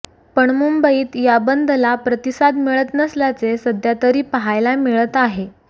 पण मुंबईत या बंद ला प्रतिसाद मिळत नसल्याचे सध्यातरी पाहायला मिळत आहे